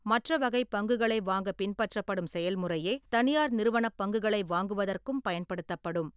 மற்ற வகை பங்குகளை வாங்கப் பின்பற்றப்படும் செயல்முறையே தனியார் நிறுவனப் பங்குகளை வாங்குவதற்கும் பயன்படுத்தப்படும்.